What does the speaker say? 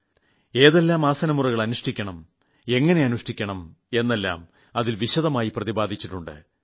ഏതെല്ലാം ആസനമുറകൾ അനുഷ്ഠിക്കണം എങ്ങനെ അനുഷ്ഠിക്കണം എന്നെല്ലാം അതിൽ വിശദമായി പ്രതിപാദിച്ചിട്ടുണ്ട്